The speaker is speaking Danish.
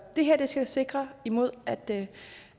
det her skal sikre imod at det